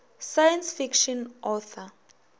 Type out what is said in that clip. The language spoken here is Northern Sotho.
science fiction author